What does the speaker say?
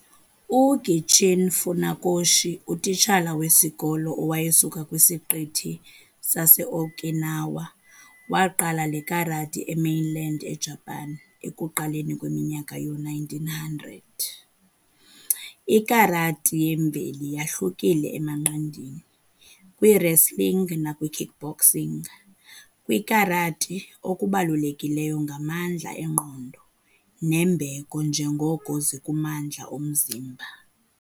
UGichin Funakoshi, utitshala wesikolo owayesuka kwisiqithi saseOkinawa, waqala le karati emainland eJapan ekuqaleni kweminyaka yoo1900. Ikarati yemveli yahlukile emanqindini, kwiwrestling nakwi kickboxing- kwikarati, okubalulekileyo ngamandla engqondo nembeko njengoko zikumandla omzimba.